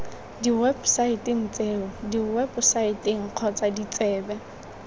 diwebosaeteng tseo diwebosaete kgotsa ditsebe